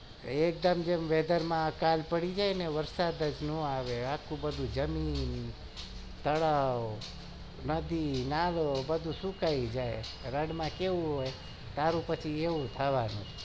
એકદમ weather માં કાલ પડી જાય ને વરસાદ જ ન આવે નદી નાલા સુકાઈ જાય રણમાં કેચું હોય